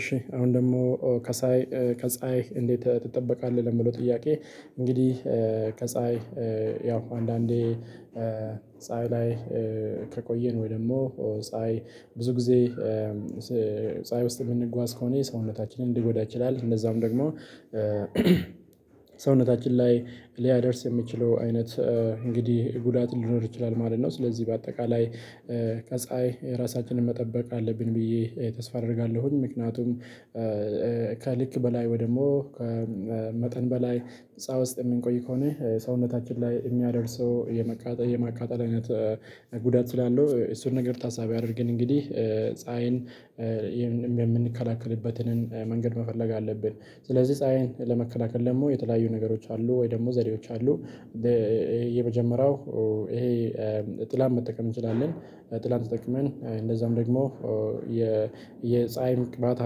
እሺ አሁን ደሞ ከሐይ ከፀሀይ እንዴት ትጠበቃለህ? ለሚለው ጥያቄ። እንግዲህ ከፀሀይ ያው አንዳንዴ ፀሀይ ላይ ከቆየን ወይ ደሞ ፀሀይ ብዙ ጊዜ ፀሀይ ውስጥ እምንጓዝ ከሆነ ሰውነታችንን ሊጎዳ ይችላል። እነዛም ደግሞ ሰውነታችን ላይ ሊያደርስ የሚችለው አይነት እንግዲህ ጉዳት ሊኖር ይችላል ማለት ነው። ስለዚህ በአጠቃላይ ከፀሀይ ራሳችንን መጠበቅ አለብን ብዬ ተስፋ አደርጋለሁኝ። ምክንያቱም ከልክ በላይ ወይ ደሞ ከመጠን በላይ ፀሀይ ውስጥ እምንቆይ ከሆነ ሰውነታችን ላይ እሚያደርሰው የማቃጠል የማቃጠል አይነት ጉዳት ስላለው እሱን ነገር ታሳቢ አድርገን እንግዲህ ፀሀይን የምንከላከልበትንን መንገድ መፈለግ አለብን። ስለዚህ ፀሀይን ለመከላከል ደግሞ የተለያዩ ነገሮች አሉ ወይ ደሞ ዘዴዎች አሉ። የመጀመሪያው ይሄ ጥላን መጠቀም እንችላለን። ጥላን ተጠቅመን እንደዛም ደግሞ የፀሀይ ቅባት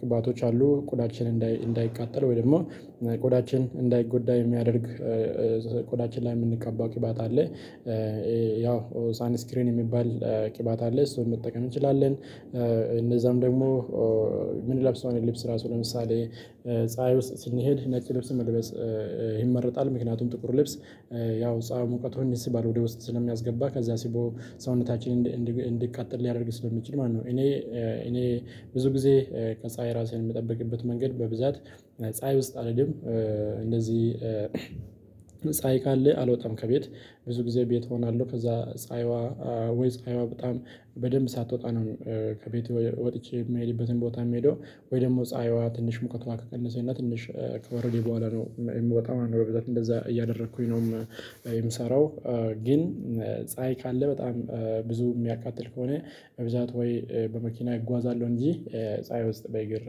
ቅባቶች አሉ ቆዳችን እንዳይቃጠል ወይም ደሞሞ ቆዳችን እንዳይጎዳ የሚያደርግ ቆዳችን ላይ እምንቀባው ቅባት አለ። ያው ሳን ስክሪን እሚባል ቅባት አለ እሱን መጠቀም እንችላለን። እነዛም ደግሞ እምን ለብሰውን ራሱ ለምሳሌ ፀሀይ ውስጥ ስንሄድ ነጭ ልብስ መልበስ ይመረጣል። ምክንያቱም ጥቁር ልብስ ያው ፀሐዩን ሙቀቱን ይስባል ወደ ውስጥ ስለሚያስገባ ከዛ ስቦ ሰውነታችን እንዲቃጠል ሊያደርግ ስለሚችል ማለት ነው። እኔ እኔ ብዙ ጊዜ ከፀሀይ ራሴን እምጠብቅበት መንገድ በብዛት ፀሀይ ውስጥ አልሄድም እንደዚህ ካለ አልወጣም ከቤት ብዙ ጊዜ ቤት እሆናለሁ። ከዛ ፀሀይዋ ወይ ፀሀይዋ በጣም በደንብ ሳትወጣ ነው ከቤትየ ወጥቼ እምሄድበትን ቦታ እምሄደው ወይ ደሞ ፀሀይዋ ትንሽ ሙቀቷ ከቀነሰና ትንሽ ከወረደ ቡኋላ ነው እምወጣው በብዛት እንደዛ እያደረኩኝ ነው። የምሰራው ግን ፀሀይ ካለ በጣም ብዙ እሚያካጥል ከሆነ በብዛት ወይ በመኪና እጓዛለሁ እንጂ ፀሀይ ውስጥ በእግር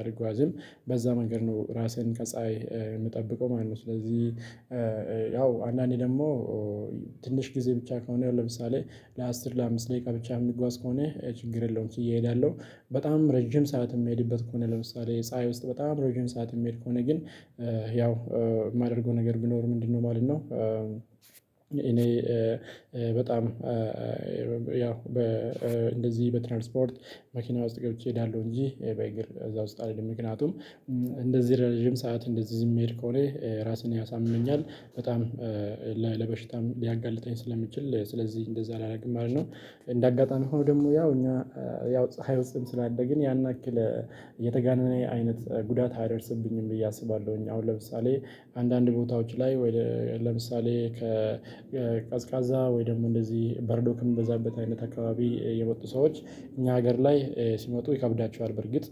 አልጓዝም በዛ መንገድ ነው ራሴን ከፀሀይ እምጠብቀው ማለት ነው። ስለዚህ አንዳንዴ ደሞ ትንሽ ጊዜ ብቻ ከሆነ ለምሳሌ ለአስር ለአምስት ደቂቃ ብቻ እሚጓዝ ከሆነ ችግር የለውም። ችየ እሄዳለሁ በጣም ረጅም ሰዓት እሚሄድበት ከሆነ ለምሳሌ ፀሀይ ውስጥ በጣም ረዥም ሰዓት እምሄድ ከሆነ ግን ያው እማደርገው ነገር ቢኖር ምንድነው ማለት ነው? እኔ በጣም ያው እንደዚህ በትራንስፖርት መኪና ውስጥ ገብቼ እሄዳለሁ እንጂ በእግር እዛ ውስጥ አልሄድም። ምክንያቱም እንደዚህ ለረዥም ሰዓት እንደዚህ እምሄድ ከሆነ ራስን ያሳምመኛል በጣም ለበሽታም ሊያጋልጠኝ ስለሚችል ስለዚህ እንደዛ አላረግም ማለት ነው። እንደ አጋጣሚ ሆኖ ደሞ ያው እኛ ያው ፀሀይ ውስጥም ስላደ ግን ያን ያክል የተጋነነ አይነት ጉዳት አያደርስብኝም ብዬ አስባለሁኝ። አሁን ለምሳሌ አንዳንድ ቦታዎች ላይ ለምሳሌ ከቀዝቃዛ ወይ ደሞ እንደዚህ በረዶ ከሚበዛበት አይነት አካባቢ የመጡ ሰዎች እኛ ሀገር ላይ ሲመጡ ይከብዳቸዋል። በርግጥ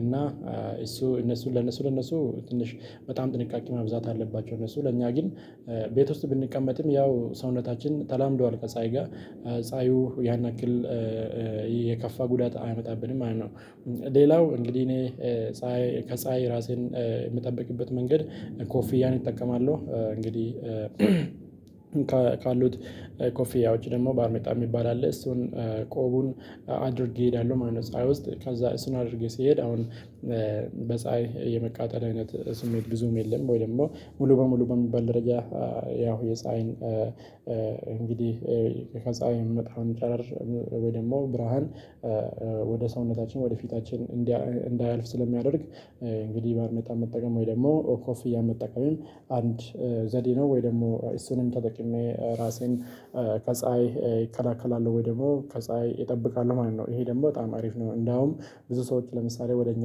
እና እሱ እነሱ ለነሱ ለነሱ ትንሽ በጣም ጥንቃቄ ማብዛት አለባቸው። እነሱ ለኛ ግን ቤት ውስጥ ብንቀመጥም ያው ሰውነታችን ተላምዷል ከፀሀይ ጋር ፀሀዩ ያን ያክል የከፋ ጉዳት አያመጣብንም ማለት ነው። ሌላው እንግዲህ እኔ ፀሀይ ከፀሀይ ራሴን እምጠብቅበት መንገድ ኮፊያን እጠቀማለሁ እንግዲህ ካሉት ኮፊያዎች ደግሞ ባርኔጣ እሚባል አለ እሱን ቆቡን አድርጌ እሄዳለሁ ማለት ነው። ፀሀይ ውስጥ ከዛ እሱን አድርጌ ስሄድ አሁን በፀሀይ የመቃጠል አይነት ስሜት ብዙም የለም ወይ ደሞ ሙሉ በሙሉ በሚባል ደረጃ ያው የፀሀይን እንግዲህ ከፀሀይ እሚወጣውን ጨረር ወይ ደሞ ብርሃን ወደ ሰውነታችን ወደ ፊታችን እንዳያልፍ ስለሚያደርግ እንግዲህ ባርኔጣ መጠቀም ወይ ደሞ ኮፍያ መጠቀምም አንድ ዘዴ ነው። ወይ ደግሞ እሱንም ተጠቅሜ ራሴን ከፀሀይ እከላከላለሁ ወይ ደግሞ ከፀሀይ እጠብቃለሁ ማለት ነው። ይሄ ደሞ በጣም አሪፍ ነው። እንዳውም ብዙ ሰዎች ለምሳሌ ወደ እኛ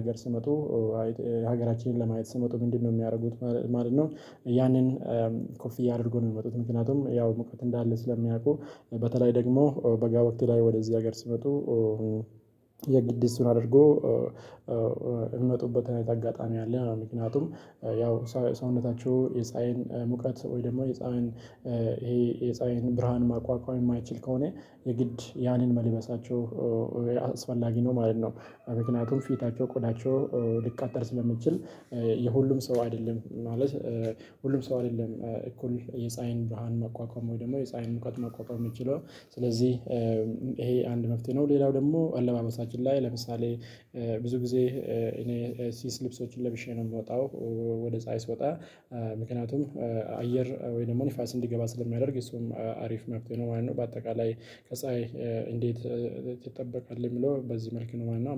አገር ሲመጡ ሀገራችንን ለማየት ሲመጡ ምንድነው እሚያረጉት? ማለት ነው ያንን ኮፊያ አድርገው ነው እሚመጡት ምክንያቱም ያው ሙቀት እንዳለ ስለሚያውቁ በተለይ ደግሞ በጋ ወቅት ላይ ወደ እዚህ አገር ሲመጡ የግድ እሱን አድርገው እሚመጡበት አይነት አጋጣሚ አለ። ምክንያቱም ያው ሰውነታቸው የፀሀይን ሙቀት ወይ ደሞ የፀሀይን ይሄ የፀሀይን ብርሃን መቋቋም እማይችል ከሆነ የግድ ያንን መልበሳቸው አስፈላጊ ነው ማለት ነው። ምክንያቱም ፊታቸው ቆዳቸው ሊቃጠል ስለሚችል የሁሉም ሰው አይደለም ማለት ሁሉም ሰው አይደለም እኩል የፀሀይን ድርሃን መቋቋም ወይ ደግሞ የፀሀይን ሙቀት መቋቋም እሚችለው ስለዚህ ይሄ አንድ መፍትሄ ነው። ሌላው ደሞ አለባበሳችን ላይ ለምሳሌ ብዙ ጊዜ እኔ ስስ ልብሶችን ለብሼ ነው እምወጣው ወደ ፀሀይ ስወጣ ምክንያቱም አየር ወይ ደሞ ንፋስ እንዲገባ ስለሚያደርግ እሱም አሪፍ መፍትሄ ነው ማለት ነው። በአጠቃላይ ከፀሀይ እንዴት ትጠበቃለህ እሚለው በዚህ መልክ ነው ማለት ነው